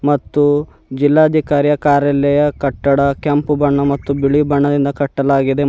ಮತ್ತು ಜಿಲ್ಲಾಧಿಕಾರಿ ಕಾರ್ಯಾಲಯ ಕಟ್ಟಡ ಕೆಂಪು ಬಣ್ಣ ಮತ್ತು ಬಿಳಿ ಬಣ್ಣದಿಂದ ಕಟ್ಟಲಾಗಿದೆ ಮ--